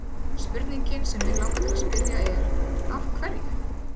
Spurningin sem mig langar til að spyrja er: Af hverju?